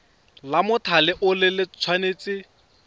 la mothale o le tshwanetse